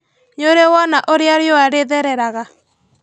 Nĩũrĩ wona ũrĩa riũa rĩthereraga?